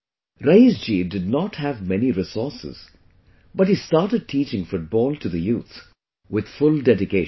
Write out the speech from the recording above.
Raees ji did not have many resources, but he started teaching football to the youth with full dedication